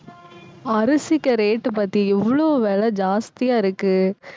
அரிசிக்கு rate பத்தியா எவ்வளவு விலை ஜாஸ்தியா இருக்கு